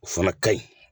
O fana ka ɲi